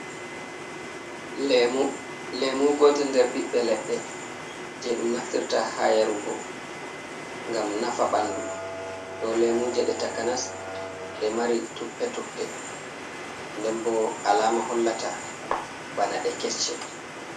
Lemu, lemu gote nɗer ɓiɓɓe leɗɗe, je ɗum naftirta ha yarugo, ngam nafa ɓanɗu. Ɗo lemuje ɗe takanas ɗe mari tuppe tuppe, nɗen ɓo alama hollata ɓana ɗe kecce.